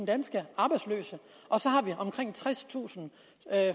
danske arbejdsløse og så har vi omkring tredstusind